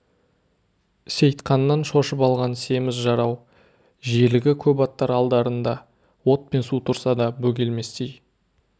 сейтқаннан шошып алған семіз жарау желігі көп аттар алдарында от пен су тұрса да бөгелместей